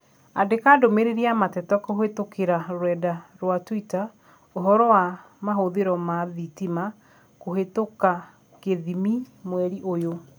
Andĩka ndũmĩrĩri ya mateta kũhĩtũkĩra rũrenda rũa tũita ũhoro wa mahũthĩro ma thitima kũhĩtũka kĩthimi mweri ũyũ